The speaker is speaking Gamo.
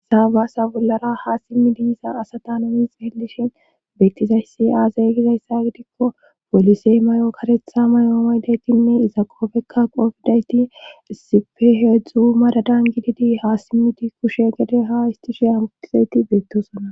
Saabaasa bollara ha simmidiiza asata nonix hellishin beettizayssi aazayy gizayssa gidikko polisey may'o karetha mayomaydaytinne iza qoofekka qoofdayti sife heedzdzu madadan gididi ha simmiti kushe gade ha histusheya mutizayti beettosonna